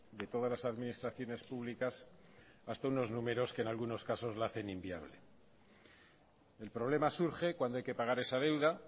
de todas las administraciones públicas hasta unos números que en algunos casos la hacen inviable el problema surge cuando hay que pagar esa deuda